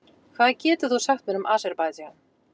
Hvað getur þú sagt mér um Aserbaídsjan?